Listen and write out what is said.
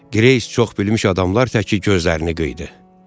Qreys çox bilmiş adamlar təki gözlərini qıydı.